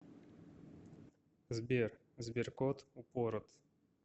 сбер сберкот упорот